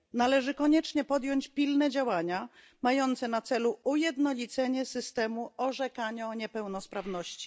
Należy koniecznie podjąć pilne działania mające na celu ujednolicenie systemu orzekania o niepełnosprawności.